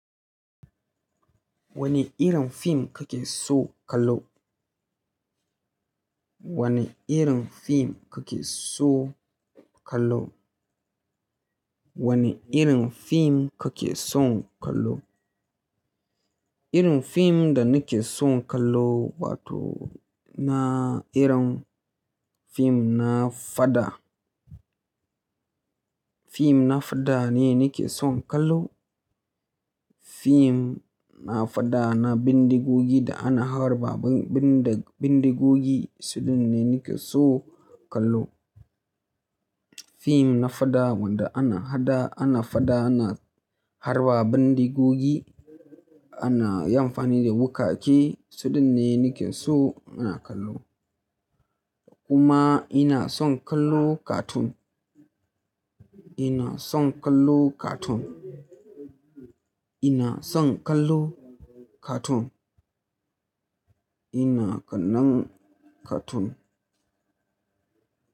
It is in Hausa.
Wane irin fim kake so kallo? Wane irin fim kake so kallo? Wane irin fim kake son kallo? Irin fim da nake son kallo wato na irin fim na fada. Fim na fada ne nake son kallo. Fim na fada na bindigogi da ana harba bindigogi sudin ne nike so kallo. Fim na fada wanda ana hada, ana fada, ana harba bindigogi, ana yin amfani da wukake suɗinne nike so ina kallo. Kuma ina son kallo cartoon. Ina son kallo cartoon. Ina son kallo cartoon. Ina kallan cartoon.